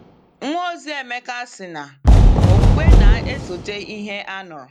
Nwaozi Emeka sị na “okwukwe na-esote ihe a nụrụ.”